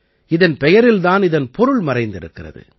இதன் பெயரில் தான் இதன் பொருள் மறைந்திருக்கிறது